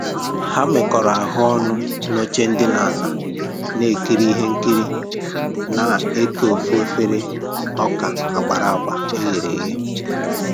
Ha mekọrọ ahụ ọnụ n'oche ndina na-ekiri ihe nkiri na eke Ofú efere ọka agbara agba eghere eghe